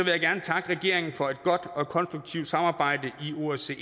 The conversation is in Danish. jeg gerne takke regeringen for et godt og konstruktivt samarbejde i osce